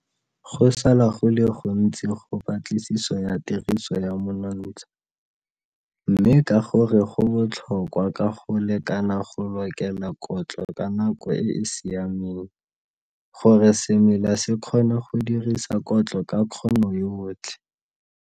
Go sala go le go ntsi go patlisiso ya tiriso ya monontsha, mme ka gore go botlhokwa ka go lekana go lokela kotlo ka nako e e siameng, gore semela se kgone go dirisa kotlo ka kgono yotlhe.